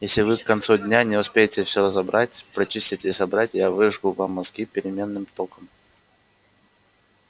если вы к концу дня не успеете всё разобрать прочистить и собрать я выжгу вам мозги переменным током